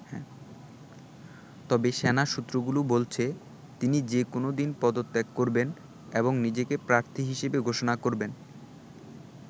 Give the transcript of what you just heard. তবে সেনা সূত্রগুলো বলছে, তিনি যেকোনো দিন পদত্যাগ করবেন এবং নিজেকে প্রার্থী হিসেবে ঘোষণা করবেন।